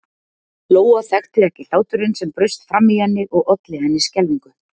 Lóa þekkti ekki hláturinn sem braust fram í henni og olli henni skelfingu.